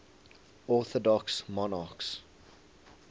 orthodox monarchs